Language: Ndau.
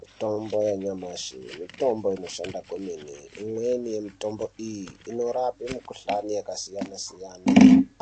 Mitombo ya nyamashi mitombo inoshanda kwemene imweni ye mitombo iyi inorape mi kuhlani yaka siyana siyana